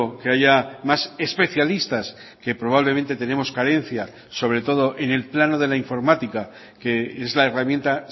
que haya más especialistas que probablemente tenemos carencia sobre todo en el plano de la informática que es la herramienta